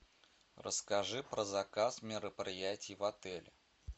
расскажи про заказ мероприятий в отеле